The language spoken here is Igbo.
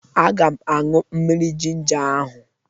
Aga m aṅụ mmiri jinja ahụ